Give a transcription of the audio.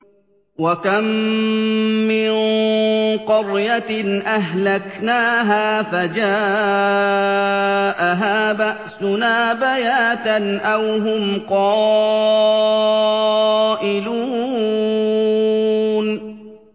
وَكَم مِّن قَرْيَةٍ أَهْلَكْنَاهَا فَجَاءَهَا بَأْسُنَا بَيَاتًا أَوْ هُمْ قَائِلُونَ